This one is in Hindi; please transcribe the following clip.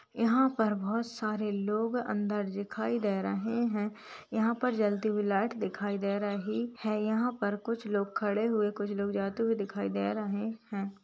यहाँ पर बोहत सारे लोग अंदर दिखाई दे रहे हैं यहाँ पर जलती हुई लाइट दिखाई दे रही है। यहाँ पर कुछ लोग खड़े हुए कुछ लोग जाते हुए दिखाई दे रहे हैं।